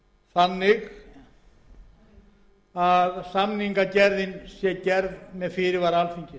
mál þannig að samningagerðin sé gerð með fyrirvara alþingis